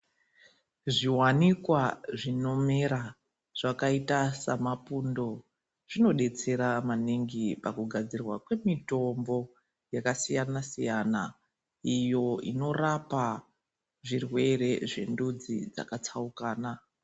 Zviwanikwa zvinomera ,zvakaita samapundo zvinodetsera maningi pakugadzirwa kwemitombo yakasiyana siyana iyo inorapa zvirwere zvendudzi dzakatsauka.